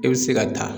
I bɛ se ka taa